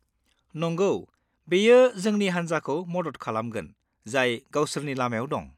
नंगौ, बेयो जोंनि हानजाखौ मदद खालामगोन जाय गावसोरनि लामायाव दं।